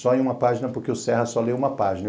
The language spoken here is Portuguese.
Só em uma página porque o Serra só lê uma página.